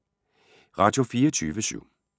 Radio24syv